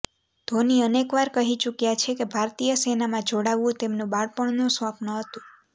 ધોની અનેકવાર કહી ચુક્યા છે કે ભારતીય સેનામાં જોડાવવુ તેમનું બાળપણનું સ્વપ્ન હતુ